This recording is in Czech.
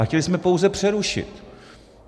A chtěli jsme pouze přerušit.